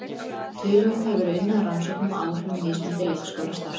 Töluvert hefur verið unnið að rannsóknum á áhrifum mismunandi leikskólastarfs á börn.